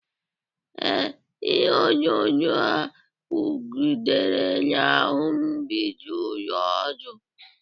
Ee, ihe onyonyo a kwụgidere n'ahụ mgbidi ụlọ ọdụ